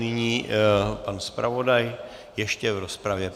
Nyní pan zpravodaj ještě v rozpravě.